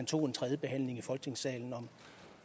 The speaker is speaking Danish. tog en tredje behandling i folketingssalen